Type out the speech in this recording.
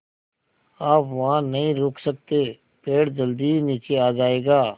आप वहाँ नहीं रुक सकते पेड़ जल्दी ही नीचे आ जाएगा